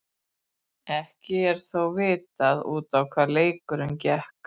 Ekki er þó vitað út á hvað leikurinn gekk.